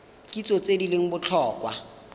kitso tse di leng botlhokwa